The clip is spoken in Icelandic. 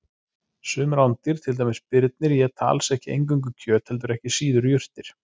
Sum rándýr, til dæmis birnir, éta alls ekki eingöngu kjöt heldur ekki síður jurtir.